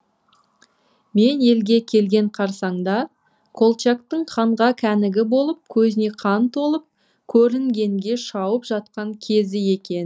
мен елге келген қарсаңда колчактың қанға кәнігі болып көзіне қан толып көрінгенге шауып жатқан кезі екен